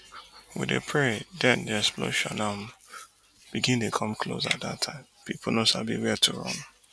we dey pray den di explosion um begin dey come close at dat time pipo no sabi wia to run